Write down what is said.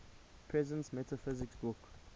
presence metaphysics book